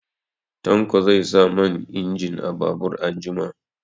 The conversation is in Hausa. Tanko zai sa man injin a babur anjima.